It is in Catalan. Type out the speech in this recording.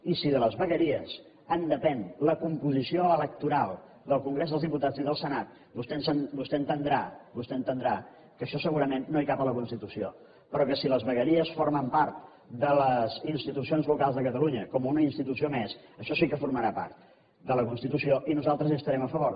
i si de les vegueries en depèn la composició electoral del congrés dels diputats i del senat vostè entendrà que això segurament no hi cap a la constitució però que si les vegueries formen part de les institucions locals de catalunya com una institució més això sí que formarà part de la constitució i nosaltres hi estarem a favor